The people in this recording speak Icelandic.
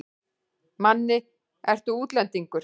Manni, ertu útlendingur?